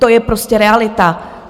To je prostě realita.